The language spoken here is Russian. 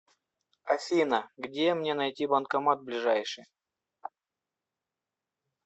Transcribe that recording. афина где мне найти банкомат ближайший